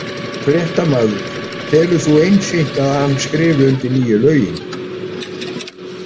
Fréttamaður: Telur þú einsýnt að hann skrifi undir nýju lögin?